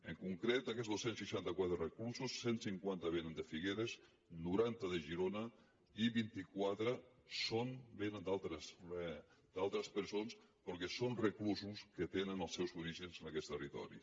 en concret d’aquests dos cents i seixanta quatre reclusos cent i cinquanta vénen de figueres noranta de girona i vint quatre vénen d’altres presons però són reclusos que tenen els seus orígens en aquest territori